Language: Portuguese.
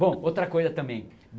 Bom, outra coisa também.